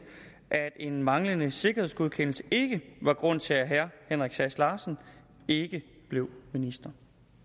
at en manglende sikkerhedsgodkendelse ikke var grund til at herre henrik sass larsen ikke blev minister